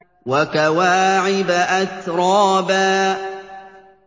وَكَوَاعِبَ أَتْرَابًا